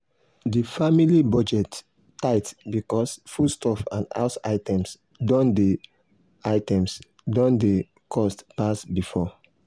the family budget tight because foodstuff and house items don dey items don dey cost pass before.